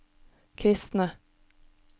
kristne